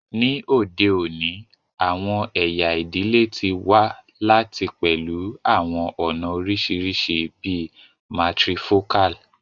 Ni ode oni, awọn ẹya idile ti wa lati pẹlu awọn ọna oriṣiriṣi bii matrifocal